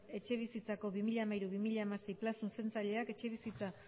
etxebizitzako bi mila hamairu bi mila hamasei plan zuzentzaileak etxebizitza